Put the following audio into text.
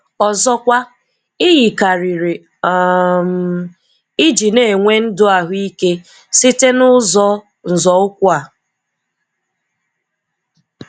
Ọzọkwa, ị̀ yikarịrị um iji nà-enwe ndụ ahụike site n’ụzọ nzọụkwụ a.